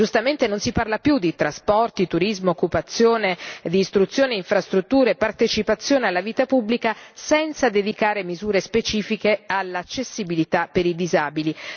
Giustamente non si parla più di trasporti, turismo, occupazione, istruzione, infrastrutture e partecipazione alla vita pubblica senza dedicare misure specifiche all'accessibilità per i disabili.